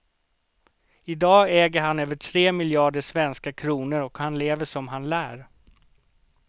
I dag äger han över tre miljarder svenska kronor och han lever som han lär.